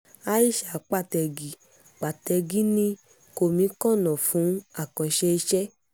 aisha pàtẹ́gì pàtẹ́gì ní kọ́míkànnà fún àkànṣe iṣẹ́